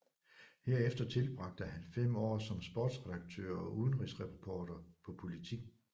Herefter tilbragte han fem år som sportsredaktør og udenrigsreporter på Politiken